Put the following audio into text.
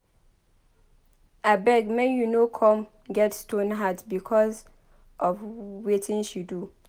Abeg make you no come get stone-heart because of wetin she do